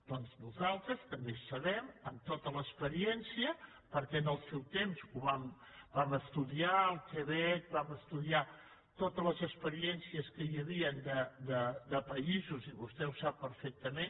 doncs nosaltres també sabem amb tota l’experiència perquè en el seu temps vam estudiar el quebec vam estudiar totes les experiències que hi havien de països i vostè ho sap perfectament